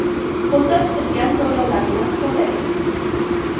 Ko‘zda tutilgan to‘lovlarni to‘ladik.